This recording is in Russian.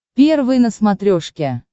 первый на смотрешке